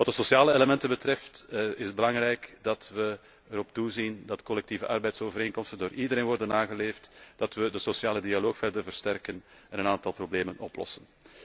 Wat de sociale elementen betreft is het belangrijk dat wij erop toezien dat collectieve arbeidsovereenkomsten door iedereen worden nageleefd, dat wij de sociale dialoog verder versterken en een aantal problemen oplossen.